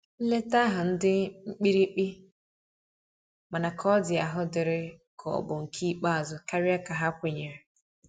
Nleta ahu ndi mkpirikpi, mana ka ọ di ahụ diri ka ọ bụ nke ikpeazu karia ka ha kwenyere.